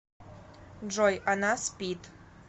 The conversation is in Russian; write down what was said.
джой она спит